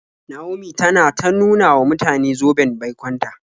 Naomi tana ta nuna wa mutane zoben baikon ta.